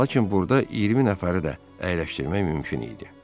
Lakin burda 20 nəfəri də əyləşdirmək mümkün idi.